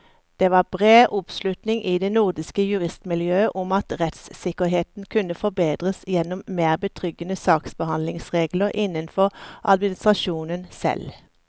Det var bred oppslutning i det nordiske juristmiljøet om at rettssikkerheten kunne forbedres gjennom mer betryggende saksbehandlingsregler innenfor administrasjonen selv.